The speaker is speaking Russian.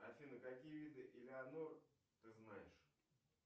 афина какие виды илианор ты знаешь